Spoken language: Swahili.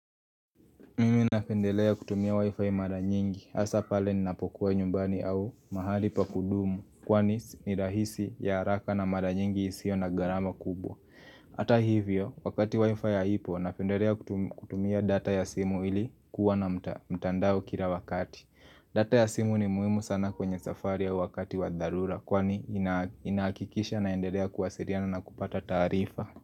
Mimi napendelea kutumia wi-fi mara nyingi hasa pale ninapokuwa nyumbani au mahali pakudumu kwani ni rahisi ya haraka na mara nyingi isio na garama kubwa Ata hivyo wakati wi-fi ya hipo napendelea kutumia data ya simu ili kuwa na mtandao kila wakati data ya simu ni muhimu sana kwenye safari ya wakati wa dharura kwani inahakikisha naendelea kuwasiriana na kupata tarifa.